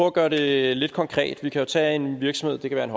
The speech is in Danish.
at gøre det lidt konkret vi kan jo tage en virksomhed det kan